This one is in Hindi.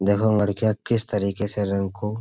देखो लड़कियां किस तरीके से रंग को --